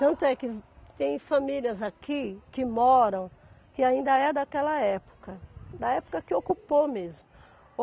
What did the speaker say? Tanto é que tem famílias aqui que moram que ainda é daquela época, da época que ocupou mesmo.